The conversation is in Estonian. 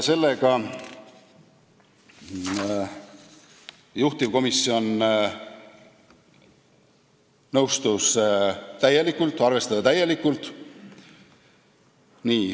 Sellega juhtivkomisjon täielikult nõustus, seda ettepanekut arvestati täielikult.